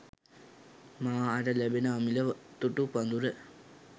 මා හට ලැබෙන අමිල තුටු පඩුර.